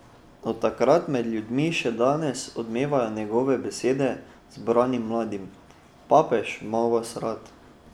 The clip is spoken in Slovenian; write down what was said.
Od takrat med ljudmi še danes odmevajo njegove besede zbranim mladim: "Papež 'ma vas rad".